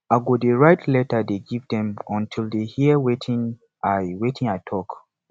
i go dey write letter dey give dem until dey hear wetin i wetin i talk